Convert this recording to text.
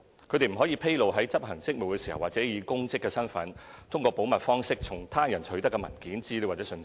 他們不得披露在執行職務時或以公職身份通過保密方式從他人取得的文件、資料或信息。